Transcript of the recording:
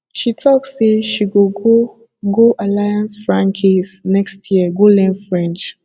she talk sey she go go go alliance francaise next year go learn french